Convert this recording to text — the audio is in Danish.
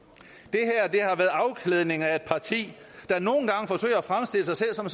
det afklædning af et parti der nogle gange forsøger at fremstille sig selv som